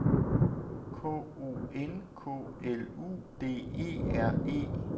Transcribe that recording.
K O N K L U D E R E